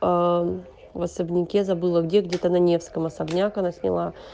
аа в особняке забыла где где-то на невском особняк она сняла